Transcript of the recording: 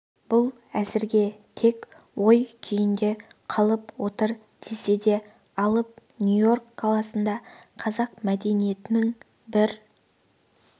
бұл әзірге тек ой күйінде қалып отыр десе де алып нью-йорк қаласында қазақ мәдениетінің бір